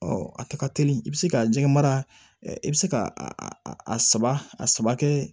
a tɛ ka teli i bɛ se ka jɛgɛ mara i bɛ se ka a saba kɛ